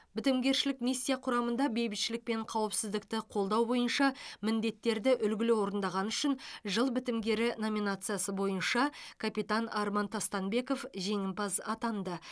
бітімгершілік миссия құрамында бейбітшілік пен қауіпсіздікті қолдау бойынша міндеттерді үлгілі орындағаны үшін жыл бітімгері номинациясы бойынша капитан арман тастанбеков жеңімпаз атанды